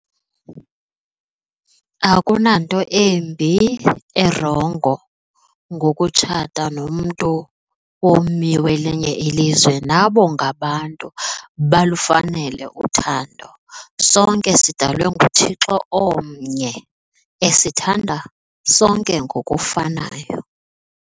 Akunanto embi, erongo ngokutshata nomntu ummi welinye ilizwe. Nabo ngaba bantu balufanele uthando. Sonke sidalwe nguThixo omnye esithanda sonke ngokufanayo.